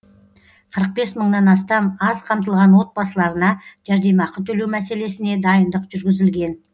қырық бес мыңнан астам аз қамтылған отбасыларына жәрдемақы төлеу мәселесіне дайындық жүргізілген